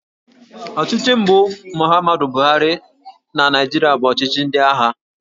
Ọchịchị mbụ Muhammadu Buhari na Naịjirịa bụ ọchịchị ndị agha